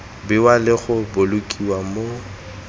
bewa le go bolokiwa mo